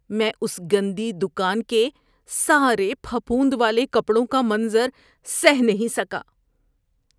میں اس گندی دکان کے سارے پھپھوند والے کپڑوں کا منظر سہہ نہیں سکا۔